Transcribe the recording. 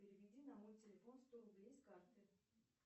переведи на мой телефон сто рублей с карты